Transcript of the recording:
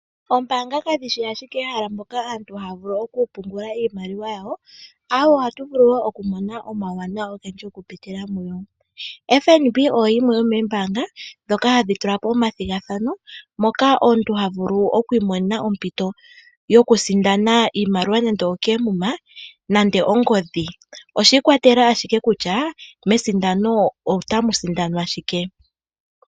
Oombanga kadhishi ashike ehala poka aantu haya vulu oku pungula iimaliwa yawo, awo oha tuvulu okumona oma wuwanawa ongendji oku pitila muyo, FNB oyo yimwe yo membaanga dhoka hadhitula po omadhigathano moka omuntu havulu okwimonena ompito yo kusindana iimaliwa nande okemuma nande ongodhi, oshikwatelela ashike kutya mesindano ota musindanwa shike.